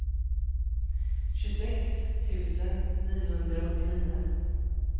tjugosex tusen niohundraåttionio